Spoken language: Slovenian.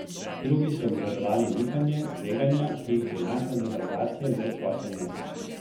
Spet drugi so obžalovali nihanje, tveganja, ki jih prinaša devalvacija, brezposelnost.